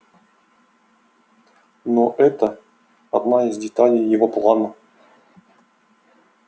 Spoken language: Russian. но это одна из деталей его плана